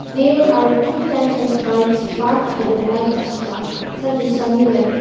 there are two types of bikes parked at the back as well such as sunny weather.